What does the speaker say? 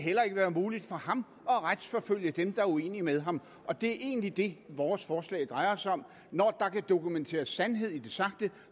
være muligt for ham at retsforfølge dem der er uenige med ham og det er egentlig det vores forslag drejer sig om når der kan dokumenteres sandhed i det sagte